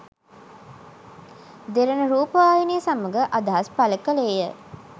දෙරණ රූපවාහිනිය සමඟ අදහස් පල කලේය.